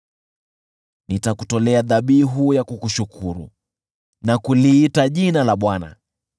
Nitakutolea dhabihu ya kukushukuru na kuliita jina la Bwana .